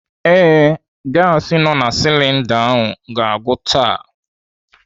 Ee, gasi nọ na silinda ga-agwụ taa.